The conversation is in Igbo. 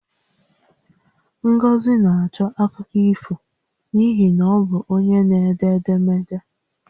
Ngozi na-achọ akụkọ ifo n'ihi na ọ bụ onye n'ede edemede